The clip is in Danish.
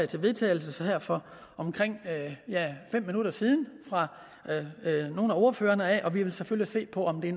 til vedtagelse her for omkring fem minutter siden fra nogle af ordførerne og vi vil selvfølgelig se på om det